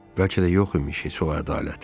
Bəlkə də yox imiş heç o ədalət.